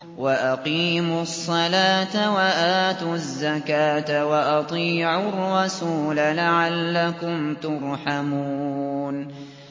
وَأَقِيمُوا الصَّلَاةَ وَآتُوا الزَّكَاةَ وَأَطِيعُوا الرَّسُولَ لَعَلَّكُمْ تُرْحَمُونَ